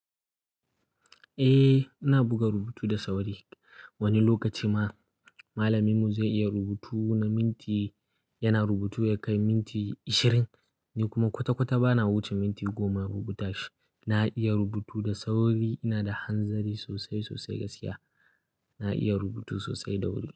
Eh, ina buga rubutu da sauri. Wani lokaci ma malaminmu zai iya rubutu na minti, yana rubutu ya kai minti ashirin ni kuma kwata-kwata bana wuce minti goma rubuta shi. Na iya rubutu da sauri, ina da hanzari sosai, sosai gaskiya. Na iya rubutu sosai da wuri.